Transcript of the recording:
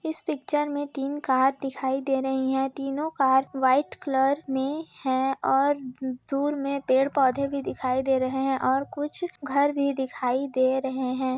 इस पिक्चर मे तीन कार दिखाई दे रही है तीनो कार व्हाईट कलर में है और दुर में पेड़-पौधे भी दिखाई दे रहे है और कुछ घर भी दिखाई दे रहे है ।